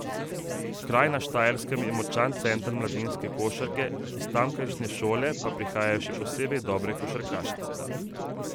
Kraj na Štajerskem je močan center mladinske košarke, iz tamkajšnje šole pa prihajajo še posebej dobre košarkarice.